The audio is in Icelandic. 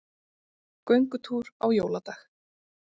Göngutúr á jóladag